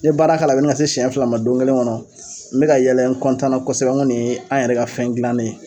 N ye baara k'a la ŋa se siɲɛ fila ma don kelen ŋɔnɔ n bɛ ka yɛlɛ n na kosɛbɛ ŋo nin ye an yɛrɛ ka fɛn dilannen ye.